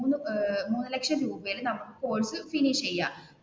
ഏർ മൂന്ന് ലക്ഷം രൂപയിൽ നമുക്ക് കോഴ്സ് ഫിനിഷ് ചെയ്യാം.